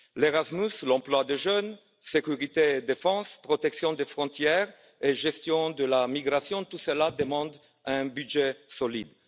Erasmus, l'emploi des jeunes, la sécurité et la défense, la protection des frontières et la gestion de la migration tout cela demande un budget solide.